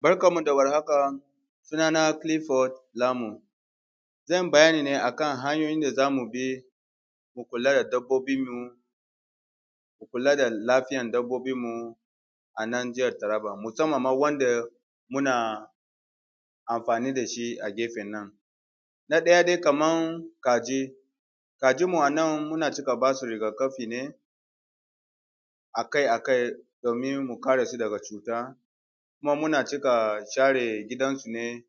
Barkan mu da warhaka suna na Clifford Lamun. Zan bayani ne akan hanyoyin da za mu bi mu kula da dabbobin mu, mu kula da lafiyan dabbobin mu a nan jihar Taraba musamman ma wanda mu na amfani da shi a gefen nan. Na ɗaya dai kaman kaji, kajin mu a nan muna cika basu rigakafi ne akai-akai domin mu kare su daga cuta kuma muna cika share gidan su ne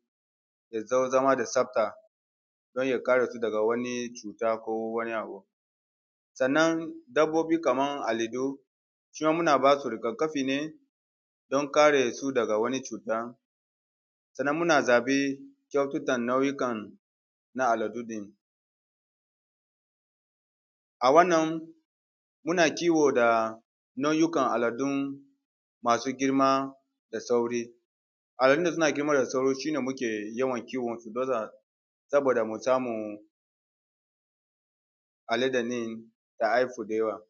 da dai zama da tsabta don ya kare su daga wani cuta ko wani abu. Sannan dabbobi kaman aladu su ma muna basu rigakafi ne don kare su daga wani cuta. Sannan muna zaɓe nau’ikan na aladu ɗin. A wannan muna kiwo da nau’ikan aladun masu girma da sauri, aladun da suna girma da sauri shine muke yawan kiwon su mu baza saboda mu samu alade ɗin ta haihu da yawa.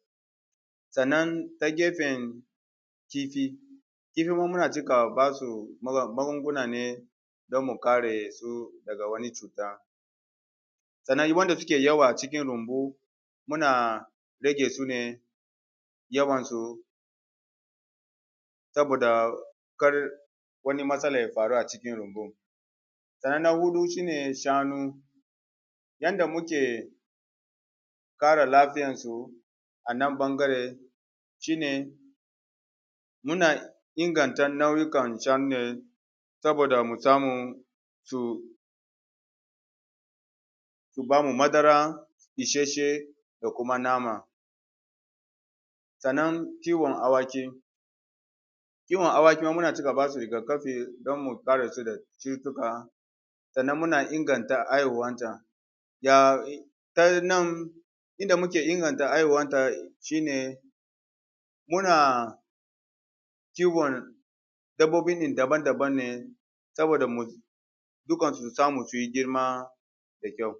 Sannan ta gefen titi, titi kuma muna cika basu magunguna ne don mu kare su daga wani cuta, sannan wanda suke yawa a cikin rumbu muna rage su ne yawan su saboda kar wani matsala ya faru a cikin rumbun. Sannan na huɗu shi ne shanu yanda muke kare lafiyan su a nan ɓangaren shine muna inganta nau’ikan shanu ne saboda mu samu su su bamu madara ishasshe da kuma nama. Sannan kiwon awaki: Kiwon awaki ma muna cika basu rigakafi don mu kare su da cutuka sannan muna inganta haihuwan ta, ya ta nan inda muke inganta haihuwan ta shi ne muna kiwon dabbobi ne daban-daban ne saboda mu dukkan su su samu su yi girma da kyau.